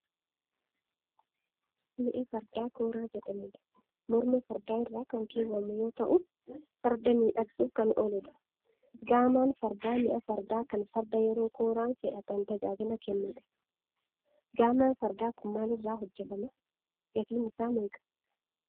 Mi'a fardaa kooraa jedhamudha. Morma fardaa irra kan keewwamu yoo ta'u farda miidhagsuuf kan ooludha. Gaamaan fardaa mi'a fardaa kan farda yeroo kooraan fe'atan tajaajila kennudha. Gaamaan fardaa kun maalirraa hojjetama? Gatiin isaa meeqa?